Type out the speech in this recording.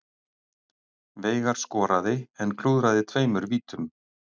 Veigar skoraði en klúðraði tveimur vítum